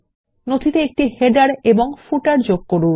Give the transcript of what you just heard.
নথিতে একটি শিরোলেখ এবং পাদলেখ যুক্ত করুন